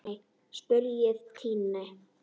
spurði Tinna.